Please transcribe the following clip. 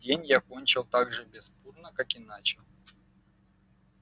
день я кончил так же беспутно как и начал